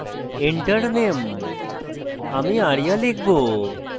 enter name আমি arya লিখব